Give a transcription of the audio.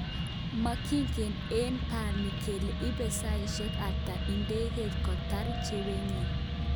Mokigen eng bani kele ibe saishek ata idegeit kotar chopenyin.